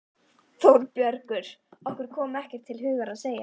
ÞÓRBERGUR: Okkur kom ekkert til hugar að segja.